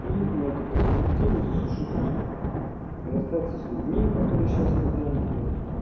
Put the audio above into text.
и на эту перспективу засушить расходы расстаться с людьми которые сейчас не заняты